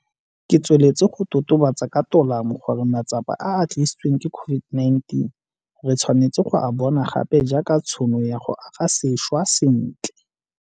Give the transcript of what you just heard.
Ke tsweletse go totobatsa ka tolamo gore matsapa a a tlisitsweng ke COVID-19 re tshwanetse go a bona gape jaaka tšhono ya go aga sešwa sentle.